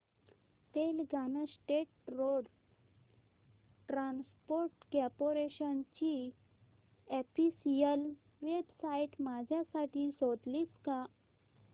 Telangana State Road Transport Corporation ची official website माझ्यासाठी शोधशील का